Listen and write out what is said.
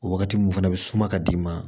O wagati mun fana bi suma ka d'i ma